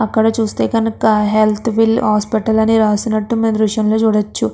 అక్కడ చూస్తే కనుక హెల్త్ బిల్ హాస్పిటల్ అని రాసినట్టు ఈ దృశ్యంలో చూడచ్చు.